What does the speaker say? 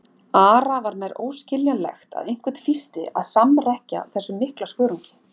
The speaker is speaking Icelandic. Ara var nær óskiljanlegt að einhvern fýsti að samrekkja þessum mikla skörungi.